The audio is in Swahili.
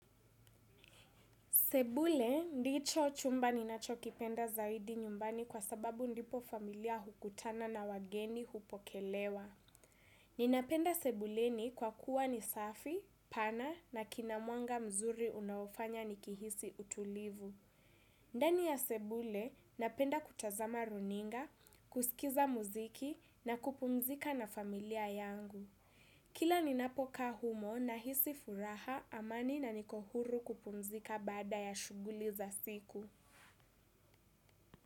Sebule, ndicho chumba ninacho kipenda zaidi nyumbani kwa sababu ndipo familia hukutana na wageni hupokelewa. Ninapenda sebuleni kwa kuwa ni safi, pana na kinamwanga mzuri unaofanya ni kihisi utulivu. Ndani ya sebule, napenda kutazama runinga, kusikiza muziki na kupumzika na familia yangu. Kila ni napokaa humo nahisi furaha amani na niko huru kupumzika baada ya shughuli za siku.